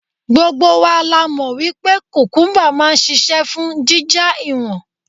Gbogbo wa la mọ̀ wípé kùkúmbà máa ń ṣisẹ́ fún jíjá ìwọ̀n.